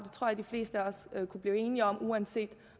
og det kunne blive enige om uanset